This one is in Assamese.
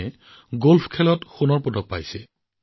আনকি মাকে কয় যে পৰিয়ালটোৰ সকলোৱে আজি গলফাৰ হৈ পৰিছে